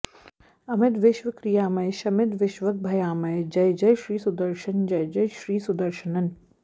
अमित विश्व क्रियामय शमित विष्वग्भयामय जय जय श्री सुदर्शन जय जय श्री सुदर्श्नन